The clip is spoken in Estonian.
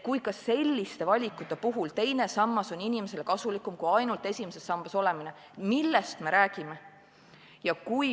Kui ka selliste valikute puhul teine sammas on inimesele kasulikum kui ainult esimeses sambas olemine, millest me siis räägime?